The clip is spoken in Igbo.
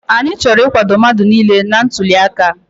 Anyị chọrọ nkwado mmadụ niile na ntuliaka a.